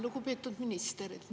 Lugupeetud minister!